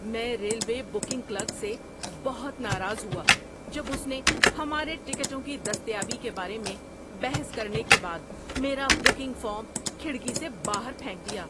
میں railway booking clerk سے بہت ناراض ہوا جب اس نے ہمارے ٹکٹوں کی دستیابی کے بارے میں بحث کرنے کے بعد میرا بکنگ فارم کھڑکی سے باہر پھینک دیا۔